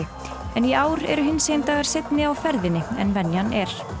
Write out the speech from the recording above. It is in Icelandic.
en í ár eru hinsegin dagar seinni á ferðinni en venjan er